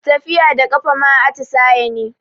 Tafiya da ƙafa ma atisaye ne